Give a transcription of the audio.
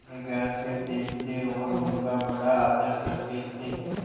निगाह से देखते और उनका बड़ा आदर करते थे